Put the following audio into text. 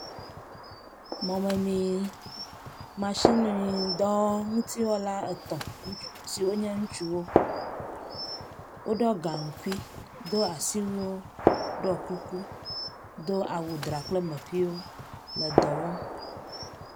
Mɔmemi masini dɔ ŋutiwɔla etɔ̃ ŋutsu siwo nye ŋutsuwo. Woɖɔ gaŋkui, do asui ɖɔ kuku do awu dra kple meƒiwo le dɔ wɔm.